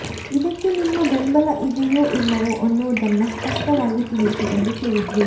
ಇದಕ್ಕೆ ನಿಮ್ಮ ಬೆಂಬಲ ಇದೆಯೋ ಇಲ್ಲವೋ ಅನ್ನೋದನ್ನ ಸ್ಪಷ್ಟವಾಗಿ ತಿಳಿಸಿ ಎಂದು ಕೇಳಿದ್ರು